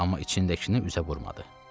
Amma içindəkini üzə vurmadı.